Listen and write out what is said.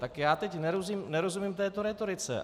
Tak já teď nerozumím této rétorice.